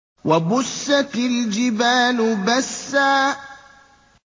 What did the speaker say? وَبُسَّتِ الْجِبَالُ بَسًّا